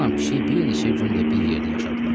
Sıcanla pişik bir neçə gün də bir yerdə yaşadılar.